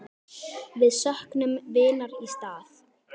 Við söknum vinar í stað.